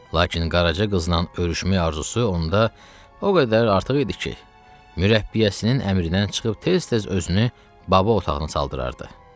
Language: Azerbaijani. Lakin Qaraca qızla öyrüşmək arzusu onda o qədər artıq idi ki, mürəbbiyəsinin əmrindən çıxıb tez-tez özünü Baba otağına saldırardı.